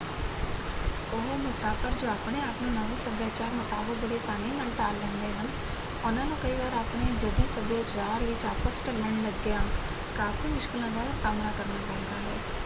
ਉਹ ਮੁਸਾਫ਼ਰ ਜੋ ਆਪਣੇ ਆਪ ਨੂੰ ਨਵੇਂ ਸੱਭਿਆਚਾਰ ਮੁਤਾਬਕ ਬੜੀ ਆਸਾਨੀ ਨਾਲ ਢਾਲ ਲੈਂਦੇ ਹਨ ਉਹਨਾਂ ਨੂੰ ਕਈ ਵਾਰ ਆਪਣੇ ਜੱਦੀ ਸੱਭਿਆਚਾਰ ਵਿੱਚ ਵਾਪਸ ਢਲਣ ਲੱਗਿਆਂ ਕਾਫ਼ੀ ਮੁਸ਼ਕਲਾਂ ਦਾ ਸਾਹਮਣਾ ਕਰਨਾ ਪੈਂਦਾ ਹੈ।